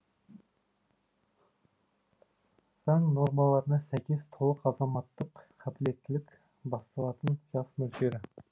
заң нормаларына сәйкес толық азаматтық қабілеттілік басталатын жас мөлшері